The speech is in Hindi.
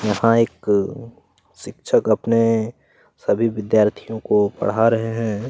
यहाँ एक शिक्षक अपने सभी विद्यार्थियों को पढ़ा रहे हैं।